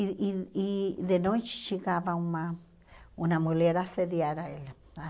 E e e de noite chegava uma uma mulher a assediar ela.